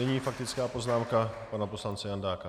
Nyní faktická poznámka pana poslance Jandáka.